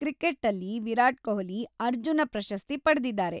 ಕ್ರಿಕೆಟ್ಟಲ್ಲಿ ವಿರಾಟ್ ಕೊಹ್ಲಿ ಅರ್ಜುನ ಪ್ರಶಸ್ತಿ ಪಡ್ದಿದಾರೆ.